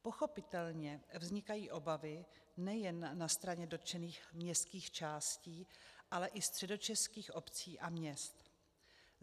Pochopitelně vznikají obavy nejen na straně dotčených městských částí, ale i středočeských obcí a měst.